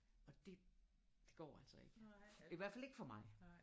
Og det det går altså ikke i hvert fald ikke for mig